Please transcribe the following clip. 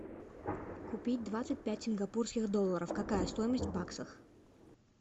купить двадцать пять сингапурских долларов какая стоимость в баксах